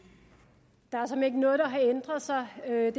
der har ændret sig